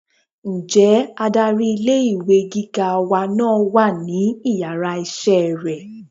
nje adarí ilé ìwé gíga wa náà wà ní iyàrá iṣẹ rẹ?